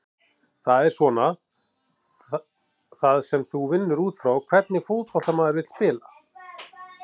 Það er svona það sem þú vinnur útfrá, hvernig fótbolta maður vill spila?